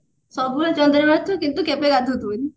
ସବୁବେଳେ ଆସୁଥିବ କିନ୍ତୁ କେବେ ଗାଧଉଥିବନି